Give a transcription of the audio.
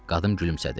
Qadın gülümsədi.